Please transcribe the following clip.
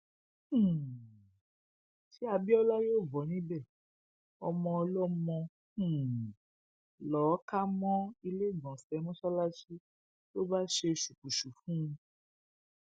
um ṣé abiola yóò bọ níbẹ ọmọọlọmọ um lọọ ká mọ iléegbọnṣe mọsálásì ló bá ṣe ṣùkùṣù fún un